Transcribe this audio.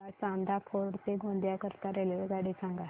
मला चांदा फोर्ट ते गोंदिया करीता रेल्वेगाडी सांगा